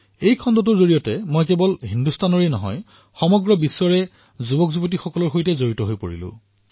এই এটা খণ্ডৰ জৰিয়তে মই কেৱল হিন্দুস্তানৰেই নহয় বিশ্বৰে যুৱ প্ৰজন্মৰ সৈতে জড়িত হৈ পৰিছো